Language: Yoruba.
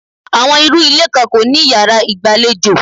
Àwọn irú ilé kan kò ní yàrá ìgbàlejò.